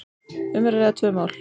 um er að ræða tvö mál.